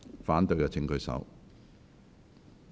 反對的請舉手。